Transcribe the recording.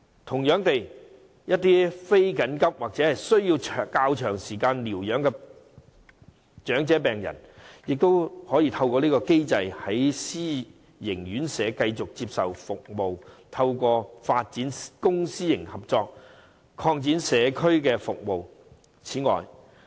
同樣地，一些非緊急或需要較長時間療養的長者病人，也可以透過這個機制，在私營院舍繼續接受服務，透過發展公私營合作，擴展社區服務。